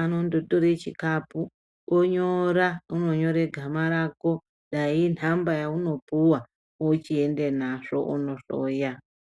Anondotore chikapu, onyora unonyore gama rako, dai inhamba yaunopuwa ochiende nazvo kunohloya.